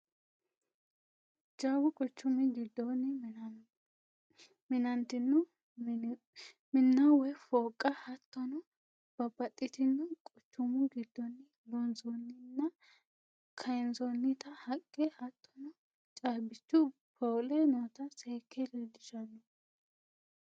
Jawu quchumi gidooni mina'ntino minna woyi fooqa hattonno banaxitino quchumu gidooni loonsonninna kayansonitta haqe hattonno caabbichu poole noota seeke lelellishano